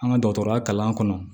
An ka dɔgɔtɔrɔya kalan kɔnɔ